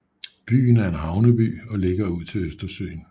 Byen er en havneby og ligger ud til Østersøen